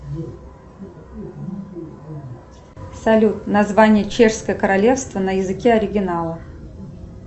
салют название чешского королевства на языке оригинала